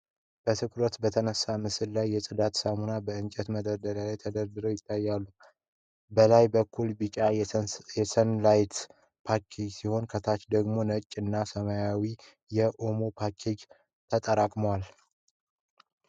በትኩረት በተነሳ ምስል ላይ፣ የጽዳት ሳሙናዎች በእንጨት መደርደሪያ ላይ ተደራርበው ይታያሉ። በላይ በኩል ቢጫ የ"Sunlight" ፓኬጆች ሲሆኑ፣ ከታች ደግሞ ነጭ እና ሰማያዊ የ"OMO" ፓኬጆች ተጠራቅመዋል።